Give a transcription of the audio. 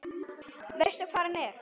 Veistu hvar hann er?